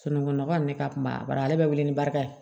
Sunungunɔgɔ nin ne ka kuma bari ale be wele ni barika ye